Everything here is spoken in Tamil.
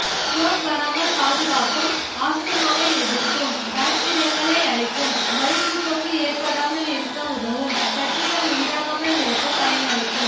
ஸ்ட்ரோக் வராமல் பாதுகாக்கும் ஆஸ்துமாவை எதிர்க்கும் பாக்டீரியாக்களை அழிக்கும் வயிற்றுப்போக்கு ஏற்படாமல் இருக்க உதவும் கட்டிகள் உண்டாகாமல் இருக்க பயனளிக்கும்